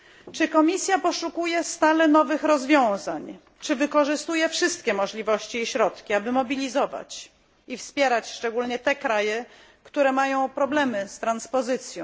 Czy Komisja poszukuje stale nowych rozwiązań, czy wykorzystuje wszystkie możliwości i środki, aby mobilizować i wspierać szczególnie te kraje, które mają problemy z transpozycją?